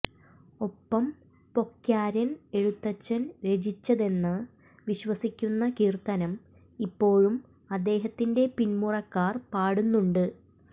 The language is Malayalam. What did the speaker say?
ഒപ്പം പൊക്യാരൻ എഴുത്തച്ഛൻ രചിച്ചതെന്ന് വിശ്വസിക്കുന്ന കീർത്തനം ഇപ്പോഴും അദ്ദേഹത്തിന്റെ പിൻമുറക്കാർ പാടുന്നുണ്ട്